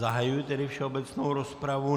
Zahajuji tedy všeobecnou rozpravu.